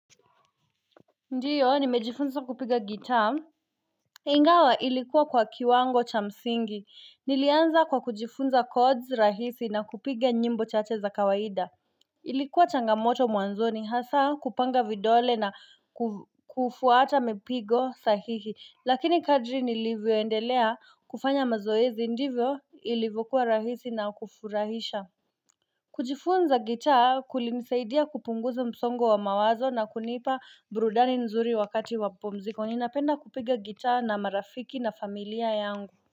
Ndiyo nimejifunza kupiga gitaa Ingawa ilikuwa kwa kiwango cha msingi Nilianza kwa kujifunza chords rahisi na kupiga nyimbo chache za kawaida Ilikuwa changamoto mwanzoni hasa kupanga vidole na kufuata mipigo sahihi lakini kadri nilivyoendelea kufanya mazoezi ndivyo ilivokuwa rahisi na kufurahisha kujifunza gitaa kulinisaidia kupunguza msongo wa mawazo na kunipa burudani nzuri wakati wa pumziko. Ninapenda kupiga gitaa na marafiki na familia yangu.